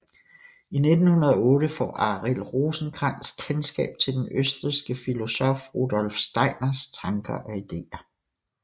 I 1908 får Arild Rosenkrantz kendskab til den østrigske filosof Rudolf Steiners tanker og idéer